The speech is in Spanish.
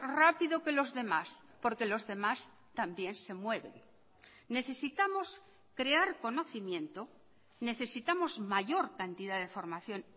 rápido que los demás porque los demás también se mueven necesitamos crear conocimiento necesitamos mayor cantidad de formación